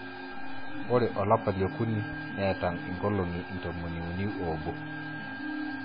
Ore olapa le okuni neeta inkolong'I intomoni uni oobo